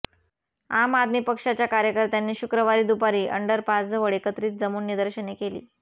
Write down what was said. आम आदमी पक्षाच्या कार्यकर्त्यांनी शुक्रवारी दुपारी अंडरपासजवळ एकत्रित जमून निदर्शने केली